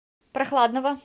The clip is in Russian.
прохладного